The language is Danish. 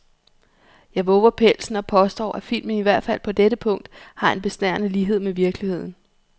Jeg vover pelsen og påstår, at filmen i hvert fald på dette punkt har en besnærende lighed med virkeligheden.